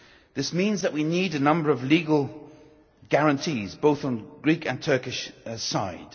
This means that we need a number of legal guarantees, both on the Greek and Turkish side.